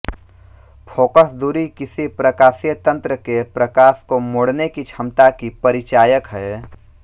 focus दूरी किसी प्रकाशीय तन्त्र के प्रकाश को मोड़ने की क्षमता की परिचायक है